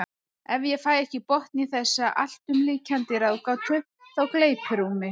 Ef ég fæ ekki botn í þessa alltumlykjandi ráðgátu þá gleypir hún mig.